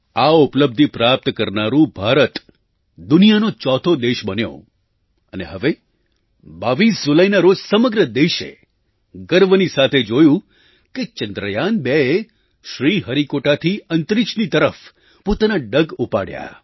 આ ઉપલબ્ધિ પ્રાપ્ત કરનારું ભારત દુનિયાનો ચોથો દેશ બન્યો અને હવે 22 જુલાઈના રોજ સમગ્ર દેશે ગર્વની સાથે જોયું કે ચંદ્રયાન2એ શ્રીહરિકોટાથી અંતરિક્ષની તરફ પોતાનાં ડગ ઉપાડ્યાં